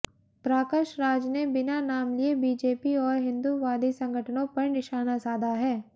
प्राकश राज ने बिना नाम लिए बीजेपी और हिंदूवादी संगठनों पर निशाना साधा है